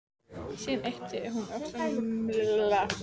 Síðan ypptir hún öxlum og mildast.